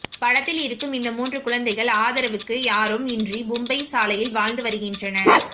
படத்தில் இருக்கும் இந்த மூன்று குழந்தைகள் ஆதரவுக்கு யாரும் இன்றி மும்பை சாலையில் வாழ்ந்து வருகின்றனர்